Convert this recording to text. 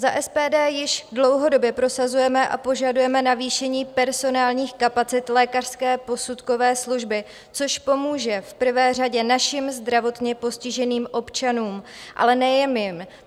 Za SPD již dlouhodobě prosazujeme a požadujeme navýšení personálních kapacit lékařské posudkové služby, což pomůže v prvé řadě našim zdravotně postiženým občanům, ale nejen jim.